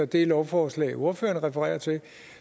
det lovforslag ordføreren refererer til